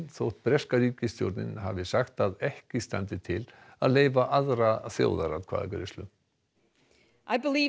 þótt breska ríkisstjórnin hafi sagt að ekki standi til að leyfa aðra þjóðaratkvæðagreiðslu